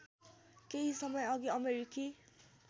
केही समयअघि अमेरिकी